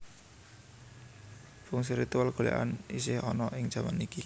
Fungsi ritual golèkan isih ana ing jaman iki